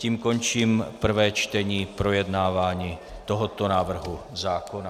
Tím končím prvé čtení projednávání tohoto návrhu zákona.